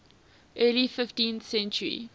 early fifteenth century